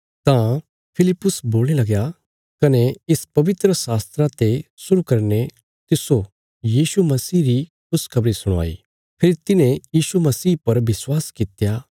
तां फिलिप्पुस बोलणे लगया कने इस शास्त्रा ते शुरु करीने तिस्सो यीशु मसीह री खुशखबरी सुणाई फेरी तिन्हें यीशु मसीह पर विश्वास कित्या